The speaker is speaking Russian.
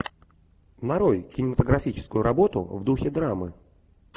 нарой кинематографическую работу в духе драмы